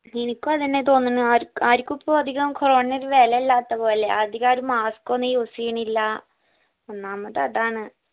എനിക്കും അതന്നെ തോന്നിന്ന് ആര് ആരിക്കും ഇപ്പൊ corona നെ ഒരു വേലയില്ലാത്ത പോലെ അധികാരും mask ഒന്നും use ചെയ്യണില്ല ഒന്നാമത് അതാണ്